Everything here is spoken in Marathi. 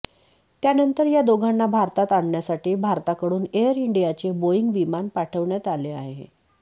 त्यानंतर या दोघांना भारतात आणण्यासाठी भारताकडून एअर इंडियाचे बोईंग विमान पाठवण्यात आले आहे